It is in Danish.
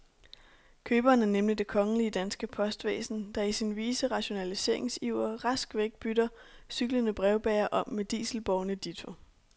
Køberen er nemlig det kongelige danske postvæsen, der i sin vise rationaliseringsiver rask væk bytter cyklende brevbærere om med dieselbårne ditto.